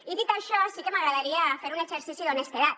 i dit això sí que m’agradaria fer un exercici d’honestedat